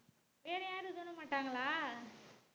வேற யாரும் தூக்க மாட்டாங்களா